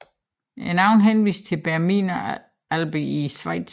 Navnet henviser til Bernina Alperne i Schweiz